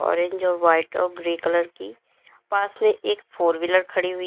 orange और white और grey colour कि पास में एक फोर व्हीलर खड़ी हुई--